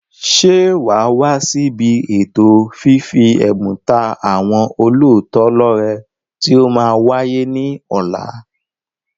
Ṣé waa wá sí ibi ètò fífi ẹ̀bùn ta àwọn olóòótọ́ lọ rẹ tí ó máa wáyé ní ọ̀la?